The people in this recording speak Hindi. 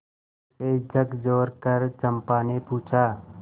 उसे झकझोरकर चंपा ने पूछा